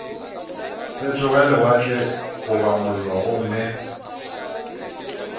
fetoge lewatle goba mollo gomme